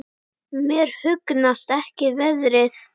Mér hugnast ekki veðrið.